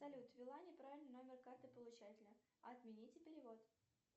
салют ввела неправильно номер карты получателя отмените перевод